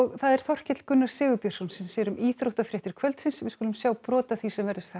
það er Þorkell Gunnar Sigurbjörnsson sem sér um íþróttafréttir kvöldsins við skulum sjá brot af því sem verður þar